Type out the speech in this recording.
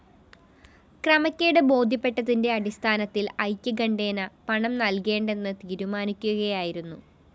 ക്രമക്കേട് ബോധ്യപ്പെട്ടതിന്റെ അടിസ്ഥാനത്തിൽ ഐക്യകണ്ഠേന പണം നൽകേണ്ടെന്ന് തീരുമാനിക്കുകയായിരുന്നു